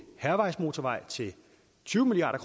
hærvejsmotorvej til tyve milliard